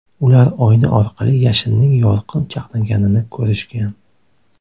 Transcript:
Ular oyna orqali yashinning yorqin chaqnaganini ko‘rishgan.